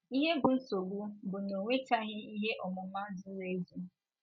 Ihe bụ́ nsogbu bụ na o nwechaghị ihe ọmụma zuru ezu.